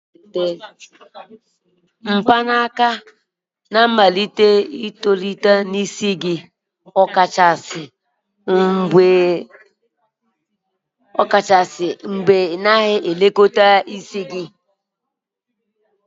mgbanaka ga amalite itolite n'isi gị, ọkachasị mgbe ị naghị elekọta onwe gị nke ọma